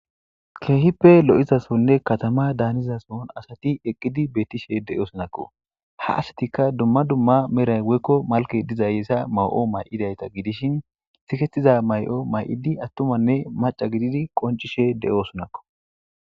keehippe lo7izasonne katama daanizason asati eqqidi bettishe de7o sunakko ha asatikka dumma dumma meray woykko malke diza yeesa ma7o may7idayta gidishin sikettiza may7o may7idi attumanne maca gididi qoncishe de7o sunakko